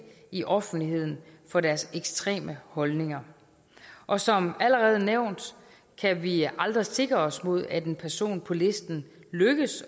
i offentligheden for deres ekstreme holdninger og som allerede nævnt kan vi aldrig sikre os mod at en person på listen lykkes